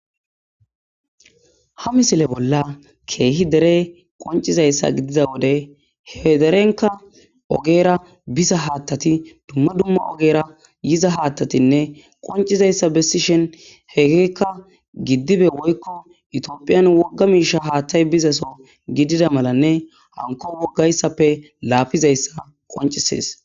Ha misile bolla keehi dere qoncciza wode ,he derekka ogera biza haaththati dumma dumma ogera yiza haaththati qoccizayssa besishin hegekka gidibbe woykko etophiya wogga miishsha haaththay bizaso gidiza malanne hankko woggayssappe laapizayssa qonccisees .